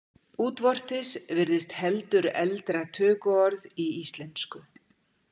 Útvortis virðist heldur eldra tökuorð í íslensku.